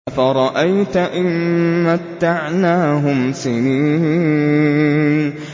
أَفَرَأَيْتَ إِن مَّتَّعْنَاهُمْ سِنِينَ